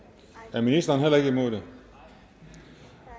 er ministeren heller ikke imod det